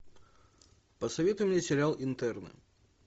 посоветуй мне сериал интерны